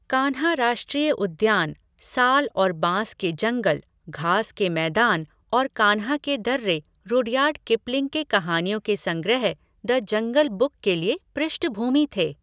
कान्हा राष्ट्रीय उद्यानः साल और बांस के जंगल, घास के मैदान और कान्हा के दर्रे रुडयार्ड किपलिंग के कहानियों के संग्रह द जंगल बुक के लिए पृष्ठभूमि थे।